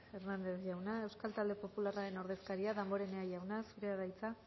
hernandez jauna euskal talde popularraren ordezkaria damborenea jauna zurea da hitza